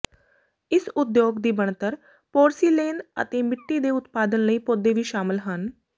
ਇਸ ਉਦਯੋਗ ਦੀ ਬਣਤਰ ਪੋਰਸਿਲੇਨ ਅਤੇ ਮਿੱਟੀ ਦੇ ਉਤਪਾਦਨ ਲਈ ਪੌਦੇ ਵੀ ਸ਼ਾਮਲ ਹਨ